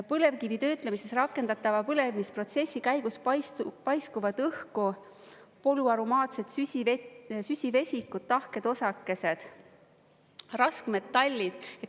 Põlevkivi töötlemiseks rakendatava põlemisprotsessi käigus paiskuvad õhku polüaromaatsed süsivesikud, tahked osakesed, raskmetallid.